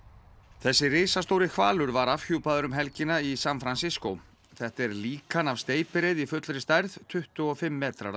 þessi risastóri hvalur var afhjúpaður um helgina í San Francisco þetta er líkan af steypireyði í fullri stærð tuttugu og fimm metrar að